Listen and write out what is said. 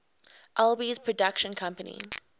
alby's production company